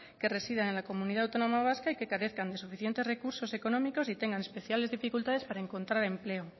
que residen en la comunidad autónoma vasca y que carezcan de suficientes recursos económicos y tengan especiales dificultades para encontrar empleo